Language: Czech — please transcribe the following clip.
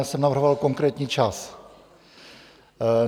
Já jsem navrhoval konkrétní čas.